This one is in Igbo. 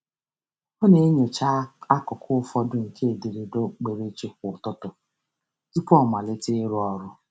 Ọ na-enyocha akụkụ ụfọdụ nke ederede okpukperechi kwa ụtụtụ tụpụ ọ amalite ịrụ ọrụ.